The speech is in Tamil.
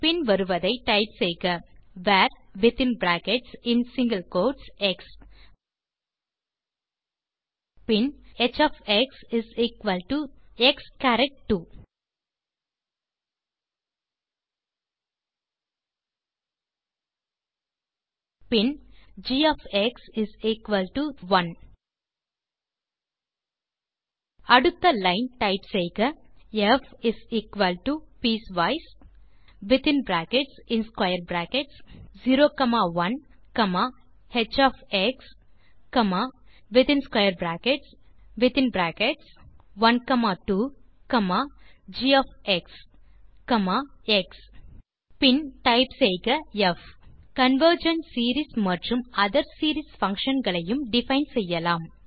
பின் வருவதை டைப் செய்க var within brackets in single quotes x பின் ஹ் of x is equal to x சரத் 2 பின் g of x is equal to 1 அடுத்த லைன் டைப் செய்க fpicewise01h12gx ப் is equal to piecewise within brackets 0 comma 1 பின் காமா ஹ் பின் அனோத்தர் பிராக்கெட் ஹ் அடுத்து square bracket it is 12 g of x comma x பின் டைப் செய்க ப் கன்வர்ஜென்ட் சீரீஸ் மற்றும் ஒத்தேர் சீரீஸ் பங்ஷன் களையும் டிஃபைன் செய்யலாம்